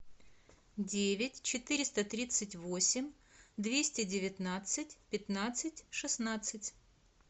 девять четыреста тридцать восемь двести девятнадцать пятнадцать шестнадцать